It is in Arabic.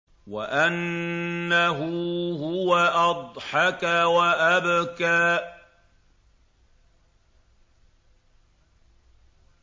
وَأَنَّهُ هُوَ أَضْحَكَ وَأَبْكَىٰ